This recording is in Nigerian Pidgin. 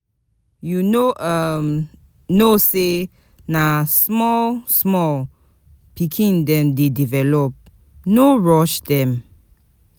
You no um know sey um na small-small pikin dem dey develop, no rush dem.